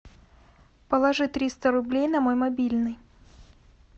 положи триста рублей на мой мобильный